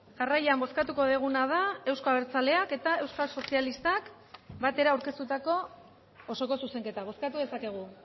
jarraian bozkatuko duguna da euzko abertzaleak eta euskal sozialistak batera aurkeztutako osoko zuzenketa bozkatu dezakegu